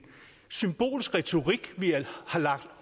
symbolsk retorik vi har lagt